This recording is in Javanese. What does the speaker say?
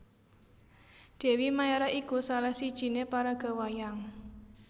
Dèwi Maérah iku salah sijiné paraga wayang